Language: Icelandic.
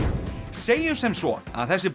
segjum sem svo að þessi